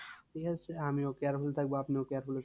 ঠিক আছে আমিও careful থাকবো আপনিও careful